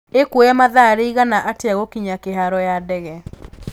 ĩkũoya mathaa riĩgana atĩa gũkinya kĩharo ya ndege